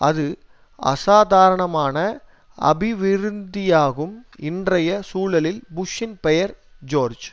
ஒரு அசாதாரணமான அபிவிருத்தியாகும் இன்றைய சூழலில் புஷ்சின் பெயர் ஜோர்ஜ்